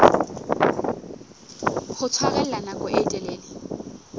ho tshwarella nako e telele